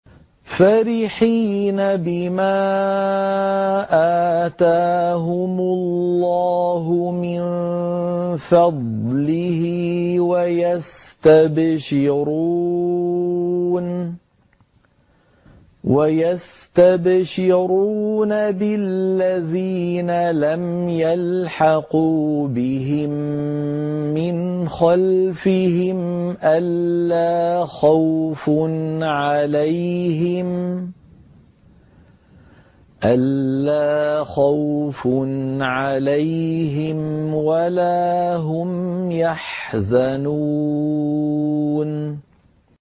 فَرِحِينَ بِمَا آتَاهُمُ اللَّهُ مِن فَضْلِهِ وَيَسْتَبْشِرُونَ بِالَّذِينَ لَمْ يَلْحَقُوا بِهِم مِّنْ خَلْفِهِمْ أَلَّا خَوْفٌ عَلَيْهِمْ وَلَا هُمْ يَحْزَنُونَ